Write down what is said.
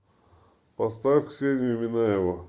поставь ксению минаеву